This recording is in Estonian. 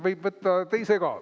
Võib võtta teise ka.